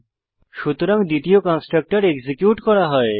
সুতরাং দ্বিতীয় constructor execute করা হয়